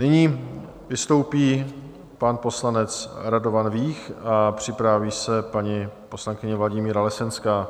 Nyní vystoupí pan poslanec Radovan Vích a připraví se paní poslankyně Vladimíra Lesenská.